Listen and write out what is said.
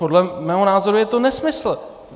Podle mého názoru je to nesmysl.